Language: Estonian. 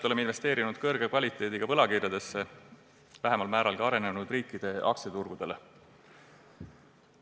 Oleme investeerinud peamiselt kõrge kvaliteediga võlakirjadesse, vähemal määral ka arenenud riikide aktsiaturgudele.